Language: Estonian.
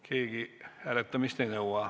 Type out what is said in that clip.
Keegi hääletamist ei nõua.